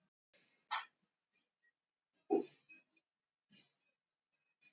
Hún hafði þá staðið svona vel fyrir sínu að það var farið að spyrjast út.